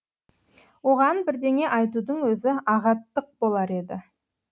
оған бірдеңе айтудың өзі ағаттық болар еді